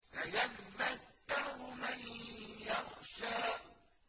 سَيَذَّكَّرُ مَن يَخْشَىٰ